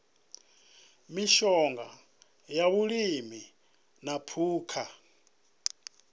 mishonga ya vhulimi na phukha